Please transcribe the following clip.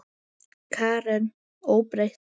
Karen: Óbreytt?